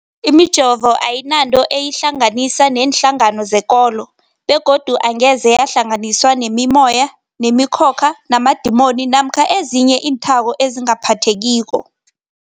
Imijovo ayinanto eyihlanganisa neenhlangano zekolo begodu angeze yahlanganiswa nemimoya, nemi khokha, namadimoni namkha ezinye iinthako ezingaphathekiko.